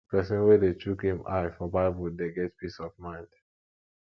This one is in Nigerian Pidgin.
pesin wey dey chook im eye for bible dey get peace of mind